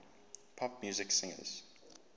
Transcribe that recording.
pop music singers